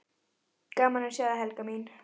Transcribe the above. Gaman að sjá þig, Helga mín!